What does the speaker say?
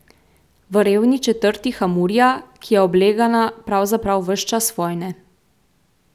V revni četrti Hamurija, ki je oblegana pravzaprav ves čas vojne.